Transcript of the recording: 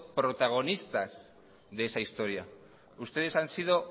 protagonistas de esa historia ustedes han sido